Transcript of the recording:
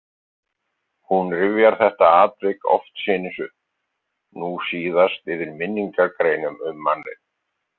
Hún rifjar þetta atvik oftsinnis upp, nú síðast yfir minningargreinum um manninn.